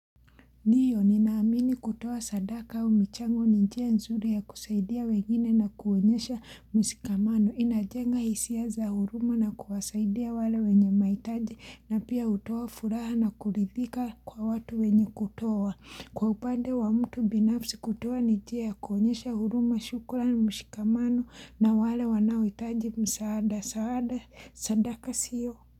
Ndiyo, ninaamini kutowa sadaka au michango ni njia nzuri ya kusaidia wengine na kuonyesha mshikamano. Inajenga hisia za huruma na kuwasaidia wale wenye maitaji na pia hutowa furaha na kuridhika kwa watu wenye kutowa. Kwa upande wa mtu binafsi kutowa nijia ya kuoenyesha huruma shukuran mshikamano na wale wanaoitaji msaada msaada sadaka sio.